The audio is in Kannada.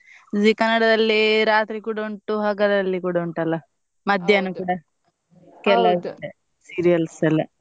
Zee Kannada ದಲ್ಲಿ ರಾತ್ರಿ ಕೂಡ ಉಂಟು ಹಗಲಲ್ಲಿ ಕೂಡ ಉಂಟಲ್ಲ ಮಧ್ಯಾಹ್ನ ಕೂಡ ಕೆಲವ್ದಿದೆ serials ಎಲ್ಲಾ.